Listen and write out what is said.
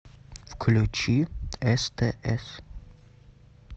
включи стс